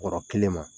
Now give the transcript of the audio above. Bɔrɔ kelen ma